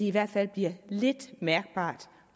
i hvert fald bliver lidt mærkbart